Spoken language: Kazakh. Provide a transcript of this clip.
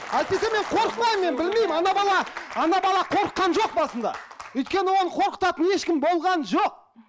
әйтпесе мен қорықпаймын мен білмеймін ана бала ана бала қорыққан жоқ басында өйткені оны қорқытатын ешкім болған жоқ